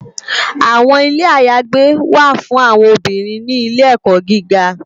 Awòn Ilé àyágbé wá fún áwòn óbìrín ni Ilè èkò gìgá